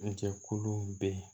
Jɛkuluw bɛ yen